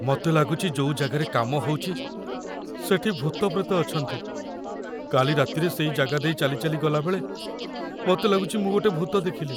ମତେ ଲାଗୁଚି ଯୋଉ ଜାଗାରେ କାମ ହଉଚି, ସେଠି ଭୂତପ୍ରେତ ଅଛନ୍ତି । କାଲି ରାତିରେ ସେଇ ଜାଗା ଦେଇ ଚାଲିଚାଲି ଗଲାବେଳେ ମତେ ଲାଗୁଚି ମୁଁ ଗୋଟେ ଭୂତ ଦେଖିଲି ।